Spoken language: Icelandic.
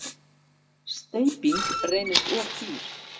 Steyping reynist of dýr.